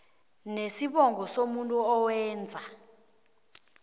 nesibongo somuntu owenza